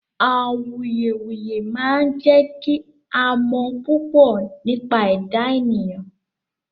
Awùyewùyẹ̀ máa jẹ̀ kí à mọ̀ púpọ̀ nípa ẹdá ènìyàn